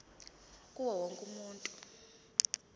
kuwo wonke umuntu